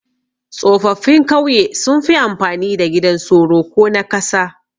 Tsofaffin kauye sunfi amfani da gidan soro ko na kasa